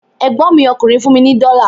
Ẹ̀gbọ́n mi ọkùnrin fún mi ní dọ́la